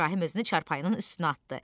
İbrahim özünü çarpayının üstünə atdı.